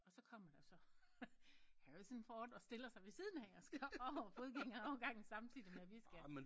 Og så kommer der jo så Harrison Ford og stiller sig ved siden af og skal over fodgængerovergangen samtidig med vi skal